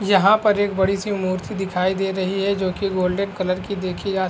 यहाँ पर एक बड़ी-सी मूर्ति दिखाई दे रही है जो की गोल्डन कलर की देखी जा --